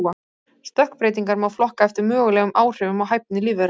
Stökkbreytingar má flokka eftir mögulegum áhrifum á hæfni lífvera.